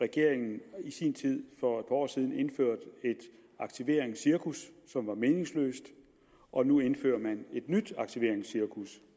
regeringen i sin tid for år siden indførte et aktiveringscirkus som var meningsløst og nu indfører man et nyt aktiveringscirkus